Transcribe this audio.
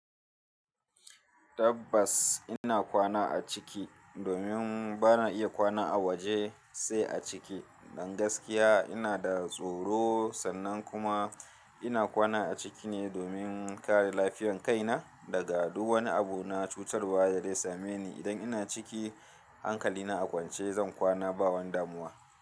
Tabbas ina kwana a ciki domin bana iya kwana a waje sai a ciki. Dan gaskiya ina da tsoro sannan kuma ina kwana a ciki ne domin kare lafiyan kaina daga duk wani abu na cutarwa da zai same ni. Idan ina ciki hankali na a kwance zan kwana ba wani damuwa.